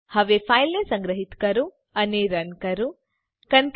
હવે ફાઈલને સંગ્રહીત કરો અને રન કરો